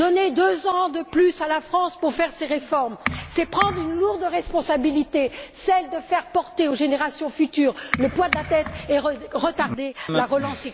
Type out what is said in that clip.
Donner deux ans de plus à la France pour mettre en œuvre ses réformes, c'est prendre une lourde responsabilité celle de faire porter aux générations futures le poids de la dette et de retarder la relance économique.